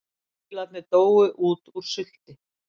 Loðfílarnir dóu út úr sulti